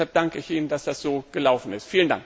Deshalb danke ich Ihnen, dass das so gut gelaufen ist.